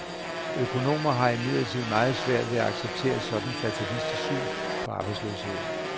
Økonomer har imidlertid meget svært ved at acceptere et sådant fatalistisk syn på arbejdsløsheden.